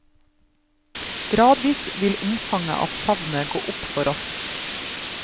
Gradvis vil omfanget av savnet gå opp for oss.